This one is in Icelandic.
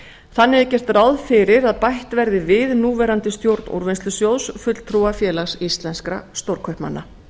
þannig er gert ráð fyrir að bætt verði við núverandi stjórn úrvinnslusjóðs fulltrúa félags íslenska stórkaupmanna